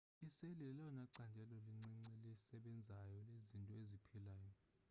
iseli lelona candelo lincinci lisebenzayo lezinto eziphilayo